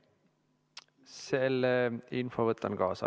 Selle info võtan kaasa.